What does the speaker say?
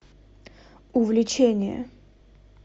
увлечение